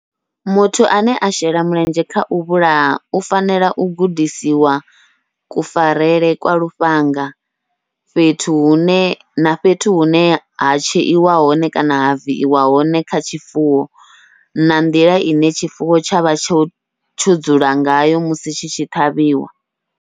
Muthu ane a shela mulenzhe kha u vhulaha, u fanela u gudisiwa kufarele kwa lufhanga fhethu hune na fhethu hune ha tsheiwa hone kana ha viiwa hone kha tshifuwo, na nḓila ine tshifuwo tsha vha tsho tsho dzula ngayo musi tshi tshi ṱhavhiwa.